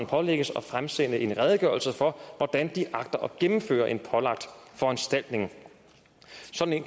pålægges at fremsende en redegørelse for hvordan de agter at gennemføre en pålagt foranstaltning sådan